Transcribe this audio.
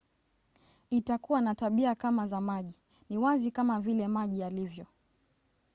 "itakuwa na tabia kama za maji. ni wazi kama vile maji yalivyo